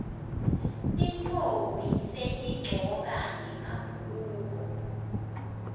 tintfombi setigcoka emabhuluko